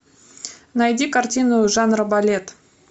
найди картину жанра балет